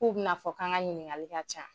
K'u bɛna fɔ k'an ka ɲininkali ka ca.